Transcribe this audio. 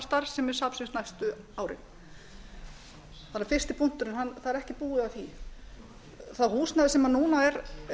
starfsemi safnsins næstu árin fyrsti punkturinn það er ekki búið að því það húsnæði sem núna er